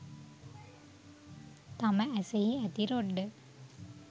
තම ඇසෙහි ඇති රොඩ්ඩ